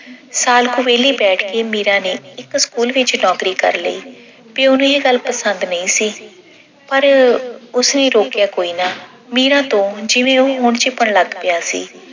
ਸਾਲ ਕੁ ਵਿਹਲੀ ਬੈਠ ਕੇ ਮੀਰਾ ਨੇ ਇੱਕ school ਵਿੱਚ ਨੌਕਰੀ ਕਰ ਲਈ ਤੇ ਉਹਨੂੰ ਇਹ ਗੱਲ ਪਸੰਦ ਨਹੀਂ ਸੀ ਪਰ ਉਸਨੇ ਰੋਕਿਆ ਕੋਈ ਨਾ। ਮੀਰਾ ਤੋਂ ਉਹ ਹੁਣ ਜਿਵੇਂ ਝਿਪਣ ਲੱਗ ਪਿਆ ਸੀ